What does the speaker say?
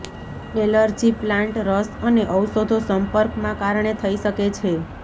allergy plant રસ અને ઔષધો સંપર્કમાં કારણે થઇ શકે છે